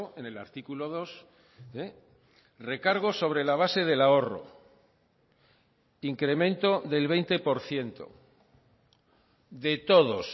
en el artículo dos recargo sobre la base del ahorro incremento del veinte por ciento de todos